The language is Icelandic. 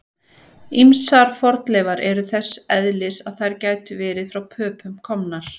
Ýmsar fornleifar eru þess eðlis að þær gætu verið frá Pöpum komnar.